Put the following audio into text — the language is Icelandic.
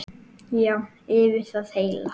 Já, yfir það heila.